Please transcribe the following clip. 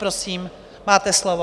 Prosím, máte slovo.